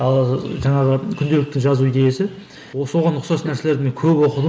ал ы жаңағы күнделікті жазу идеясы соған ұқсас нәрселерді мен көп оқыдым